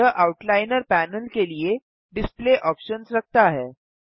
यह outliner panel के लिए डिस्प्ले ऑप्शन्स रखता है